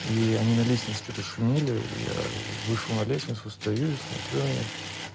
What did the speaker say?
и они на лестнице что-то шумели я вышел на лестницу стою и смотрю на них